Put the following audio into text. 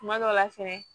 Kuma dɔ la fɛnɛ